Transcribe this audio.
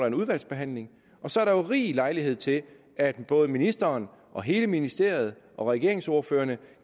en udvalgsbehandling og så er der rig lejlighed til at både ministeren og hele ministeriet og regeringsordførerne